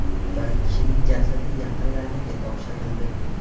Bir kishining jasadi yaqinlariga topshirildi.